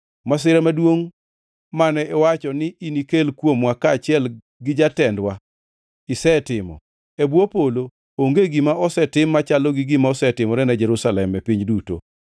Masira maduongʼ mane iwacho ni inikel kuomwa kaachiel gi jatendwa isetimo. E bwo polo onge gima osetim machalo gi gima osetimore ne Jerusalem, e piny duto.